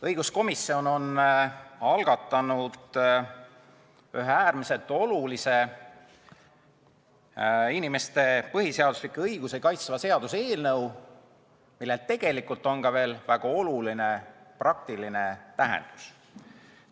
Õiguskomisjon on algatanud ühe äärmiselt olulise, inimeste põhiseaduslikke õigusi kaitsva seaduse eelnõu, millel tegelikult on ka veel väga oluline praktiline tähendus.